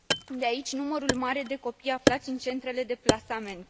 De aici, numărul mare de copii aflați în centrele de plasament.